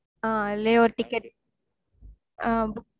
ஆஹ் அதுலே ஒரு ticket